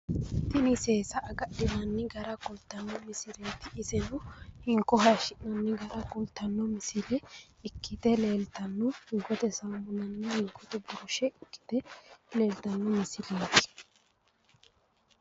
tini seesa agadhinanni gara kultanno misileeti tini iseno hinko hayiishshi'nanni gara kultanno misileeti tini ikkite leeltanno hinkote saamunanna hinkote birushe ikkite leeltanno misileeti .